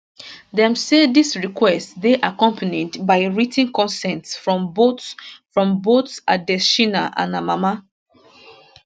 dem say dis request dey accompanied by writ ten consent from both from both adetshina and her mama